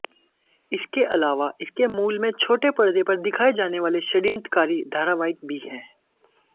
इसके अलावा इसके मूल में छोटे परदे पर दिखाए जाने वाले षड्यंत्रकारी धारावाहिक भी हैं